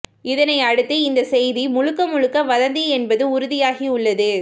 இதனை அடுத்து இந்த செய்தி முழுக்க முழுக்க வதந்தி என்பது உறுதியாகியுள்ளது